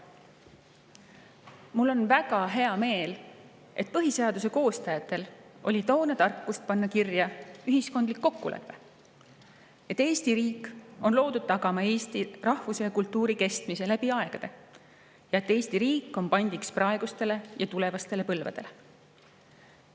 Mul on väga hea meel, et põhiseaduse koostajatel oli toona tarkust panna kirja ühiskondlik kokkulepe, et Eesti riik on loodud tagama eesti rahvuse ja kultuuri kestmise läbi aegade ja et Eesti riik on pandiks praegustele ja tulevastele põlvedele.